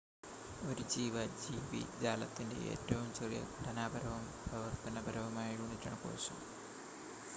ഒരു ജീവ ജീവി ജാലത്തിന്റെ ഏറ്റവും ചെറിയ ഘടനാപരവും പ്രവർത്തനപരവുമായ യൂണിറ്റാണ് കോശം